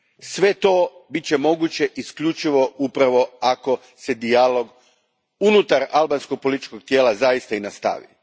Sve to bit će moguće isključivo upravo ako se dijalog unutar albanskog političkog tijela zaista i nastavi.